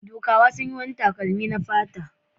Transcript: Dukawa sun yi wani takalmi na fata.